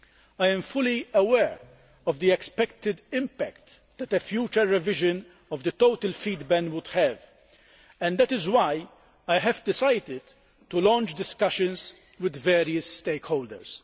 I am fully aware of the expected impact that a future revision of the total feed ban would have, and that is why I have decided to launch discussions with various stakeholders.